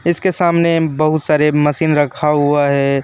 इसके सामने बहुत सारे मशीन रखा हुआ है।